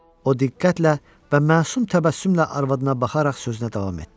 O diqqətlə və məsum təbəssümlə arvadına baxaraq sözünə davam etdi.